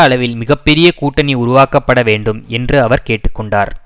அளவில் மிக பெரிய கூட்டணி உருவாக்கப்படவேண்டும் என்று அவர் கேட்டு கொண்டார்